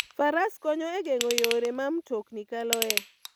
Faras konyo e geng'o yore ma mtokni kaloe.